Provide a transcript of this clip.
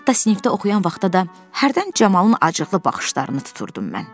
Hətta sinifdə oxuyan vaxtı da hərdən Camalın acıqlı baxışlarını tuturdum mən.